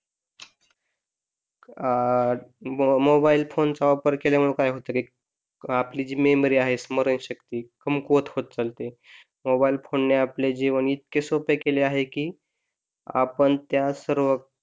अं mobile phone चा वापर केल्यामुळे काय होत की, आपली जी मेमरी आहे स्मरणशक्ती कमकुवत होत चाललीये मोबाइल फोन ने आपल्याला जीवन इतके सोपे केले आहे कि, आपण त्यात सर्व,